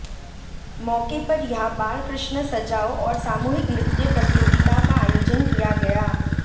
मौके पर यहां बाल कृष्ण सजाओ और सामूहिक नृत्य प्रतियोगिता का आयोजन किया गया